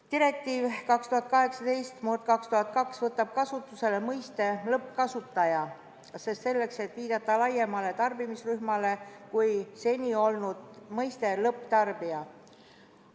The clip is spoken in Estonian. Direktiiv 2018/2002 võtab kasutusele mõiste "lõppkasutaja", seda selleks, et viidata laiemale tarbimisrühmale kui seni kasutusel olnud mõiste "lõpptarbija".